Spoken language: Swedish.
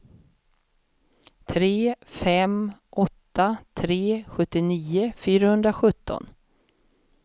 tre fem åtta tre sjuttionio fyrahundrasjutton